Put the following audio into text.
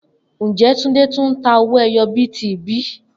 Njẹ Tunde tun n ta owó ẹyọ bíìtì bi?